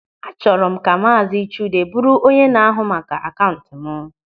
Achọrọ m ka maazị Chude bụrụ onye na-ahụ maka akaụntụ m.